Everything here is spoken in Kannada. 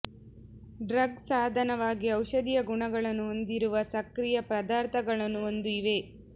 ಡ್ರಗ್ ಸಾಧನವಾಗಿ ಔಷಧೀಯ ಗುಣಗಳನ್ನು ಹೊಂದಿರುವ ಸಕ್ರಿಯ ಪದಾರ್ಥಗಳನ್ನು ಒಂದು ಇವೆ